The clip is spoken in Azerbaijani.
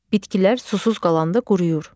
Bitkilər susuz qalanda quruyur.